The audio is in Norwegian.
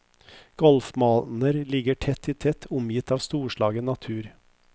Golfbaner ligger tett i tett, omgitt av storslagen natur.